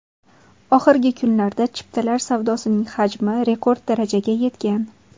Oxirgi kunlarda chiptalar sotuvining hajmi rekord darajaga yetgan.